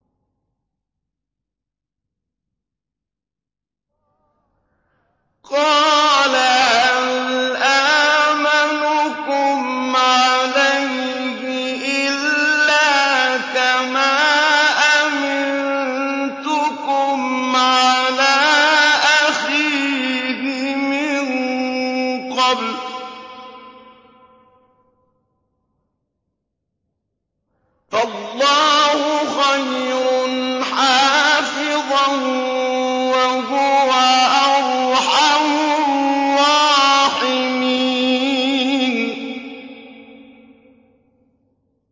قَالَ هَلْ آمَنُكُمْ عَلَيْهِ إِلَّا كَمَا أَمِنتُكُمْ عَلَىٰ أَخِيهِ مِن قَبْلُ ۖ فَاللَّهُ خَيْرٌ حَافِظًا ۖ وَهُوَ أَرْحَمُ الرَّاحِمِينَ